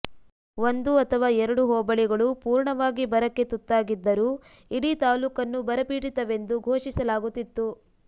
ಒಂದು ಅಥವಾ ಎರಡು ಹೋಬಳಿಗಳು ಪೂರ್ಣವಾಗಿ ಬರಕ್ಕೆ ತುತ್ತಾಗಿದ್ದರೂ ಇಡೀ ತಾಲೂಕನ್ನು ಬರಪೀಡಿತವೆಂದು ಘೋಷಿಸಲಾಗುತ್ತಿತ್ತು